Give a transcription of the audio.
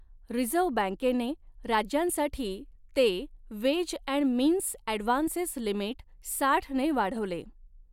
Reserve बँकेने राज्यांसाठी ते ways and means advances limit साठने वाढवले.